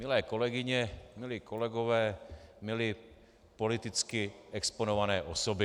Milé kolegyně, milí kolegové, milé politicky exponované osoby.